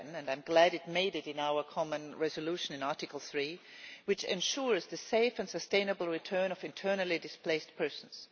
7. I am glad it made it in our common resolution in Article 3, which ensures the safe and sustainable return of internally displaced persons.